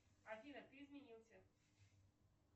афина ты изменился